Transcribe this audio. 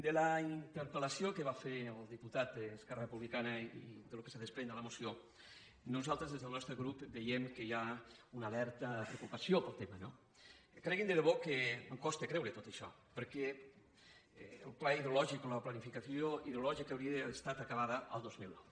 per la interpelfer el diputat d’esquerra republicana i pel que es desprèn de la moció nosaltres des del nostre grup veiem que hi ha una alerta preocupació pel tema no creguin de debò que em costa creure tot això perquè la planificació hidrològica hauria d’haver estat acabada el dos mil nou